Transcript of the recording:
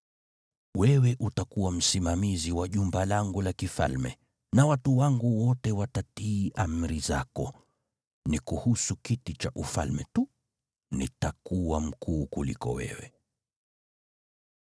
Wewe utakuwa msimamizi wa jumba langu la kifalme, na watu wangu wote watatii amri zako. Ni kuhusu kiti cha ufalme tu nitakuwa mkuu kuliko wewe.”